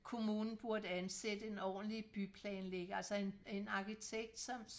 kommunen burde ansætte en ordentlig byplanlægger altså en en arkitekt som